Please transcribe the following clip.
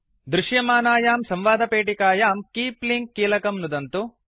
दृश्यमानायां संवादपेटिकायां keep link कीलकं नुदन्तु